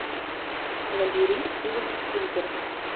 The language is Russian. набери стивена спилберга